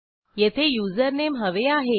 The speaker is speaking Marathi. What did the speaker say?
येथे युजरनेम हवे आहे